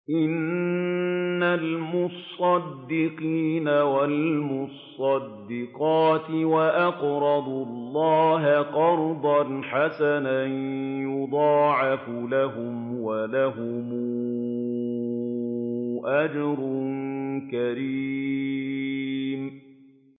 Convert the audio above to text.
إِنَّ الْمُصَّدِّقِينَ وَالْمُصَّدِّقَاتِ وَأَقْرَضُوا اللَّهَ قَرْضًا حَسَنًا يُضَاعَفُ لَهُمْ وَلَهُمْ أَجْرٌ كَرِيمٌ